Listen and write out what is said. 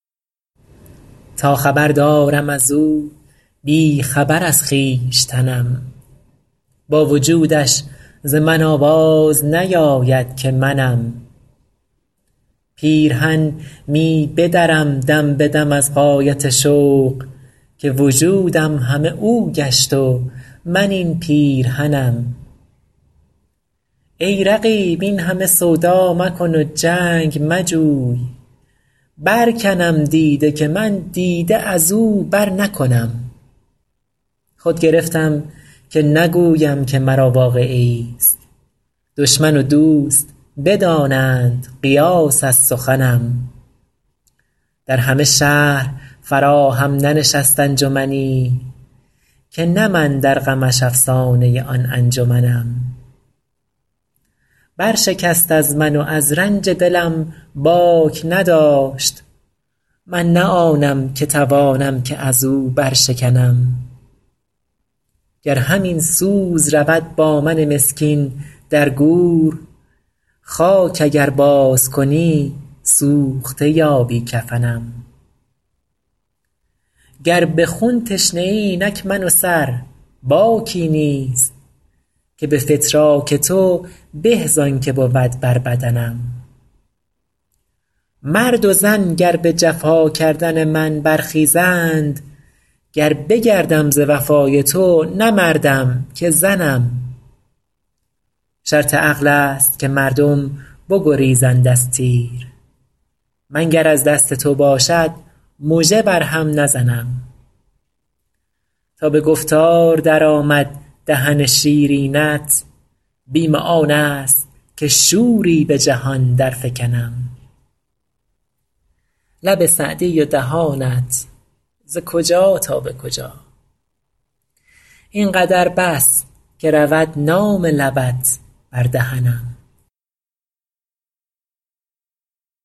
تا خبر دارم از او بی خبر از خویشتنم با وجودش ز من آواز نیاید که منم پیرهن می بدرم دم به دم از غایت شوق که وجودم همه او گشت و من این پیرهنم ای رقیب این همه سودا مکن و جنگ مجوی برکنم دیده که من دیده از او برنکنم خود گرفتم که نگویم که مرا واقعه ایست دشمن و دوست بدانند قیاس از سخنم در همه شهر فراهم ننشست انجمنی که نه من در غمش افسانه آن انجمنم برشکست از من و از رنج دلم باک نداشت من نه آنم که توانم که از او برشکنم گر همین سوز رود با من مسکین در گور خاک اگر بازکنی سوخته یابی کفنم گر به خون تشنه ای اینک من و سر باکی نیست که به فتراک تو به زان که بود بر بدنم مرد و زن گر به جفا کردن من برخیزند گر بگردم ز وفای تو نه مردم که زنم شرط عقل است که مردم بگریزند از تیر من گر از دست تو باشد مژه بر هم نزنم تا به گفتار درآمد دهن شیرینت بیم آن است که شوری به جهان درفکنم لب سعدی و دهانت ز کجا تا به کجا این قدر بس که رود نام لبت بر دهنم